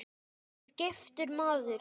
Ég er giftur maður.